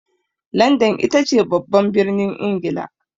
Landan itace babban birnin Ingila.